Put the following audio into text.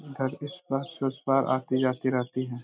इस पार से उस पार आती जाती रहती है।